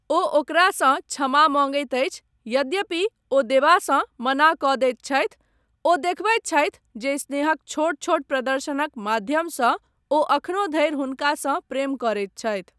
ओ ओकरासँ क्षमा मँगैत अछि यद्यपि ओ देबासँ मना कऽ दैत छथि, ओ देखबैत छथि जे स्नेहक छोट छोट प्रदर्शनक माध्यमसँ ओ एखनो धरि हुनकासँ प्रेम करैत छथि।